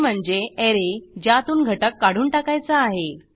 ते म्हणजे ऍरे ज्यातून घटक काढून टाकायचा आहे